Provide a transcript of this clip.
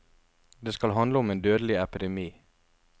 Det skal handle om en dødelig epidemi.